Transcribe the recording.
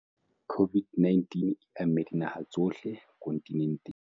COVID-19 e amme dinaha tsohle kontinenteng.